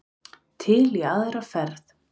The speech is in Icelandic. Til í aðra ferð.